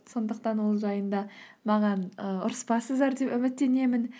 сондықтан ол жайында маған ы ұрыспассыздар деп үміттенемін